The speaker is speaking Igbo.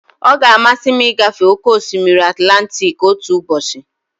Ọ ga-amasị m ịgafe oke osimiri Atilantiki otu ụbọchị.